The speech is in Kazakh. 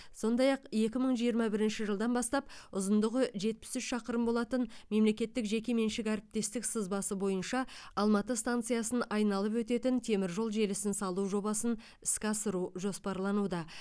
сондай ақ екі мың жиырма бірінші жылдан бастап ұзындығы жетпіс үш шақырым болатын мемлекеттік жеке меншік әріптестік сызбасы бойынша алматы станциясын айналып өтетін теміржол желісін салу жобасын іске асыру жоспарлануда